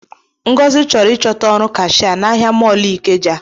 Ngozi chọrọ ịchọta ọrụ kashịa n’ahịa mọlu ikeja